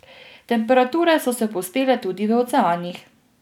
Temperature so se povzpele tudi v oceanih.